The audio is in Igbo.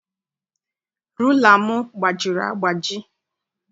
Rula m gbajiri agbaji.